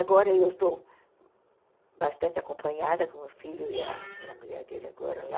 Agora eu estou bastante acompanhada com o filho e a e a mulher dele agora lá.